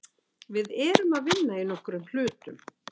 Við erum að vinna í nokkrum hlutum.